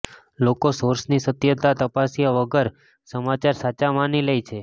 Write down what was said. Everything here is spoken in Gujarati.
લોકો સોર્સની સત્યતા તપાસ્યા વગર સમાચાર સાચા માની લે છે